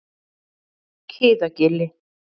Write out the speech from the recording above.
Kiðagili